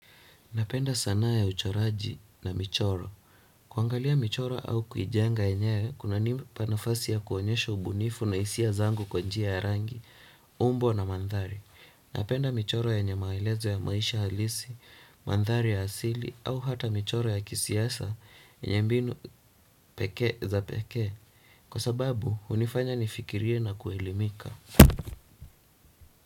Napenda sanaa ya uchoraji na michoro. Kuangalia michoro au kuijenga enyewe kuna nipa nafasi ya kuonyesha ubunifu na hisia zangu kwa njia ya rangi, umbo na mandhari. Napenda michoro yenye maelezo ya maisha halisi, mandhari ya asili, au hata michoro ya kisiasa, yenye mbinu pekee za pekee. Kwa sababu, hunifanya nifikirie na kuelimika.